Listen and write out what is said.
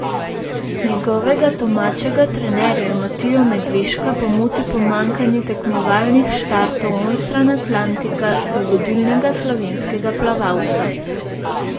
Njegovega domačega trenerja Matijo Medveška pa moti pomanjkanje tekmovalnih štartov onstran Atlantika za vodilnega slovenskega plavalca.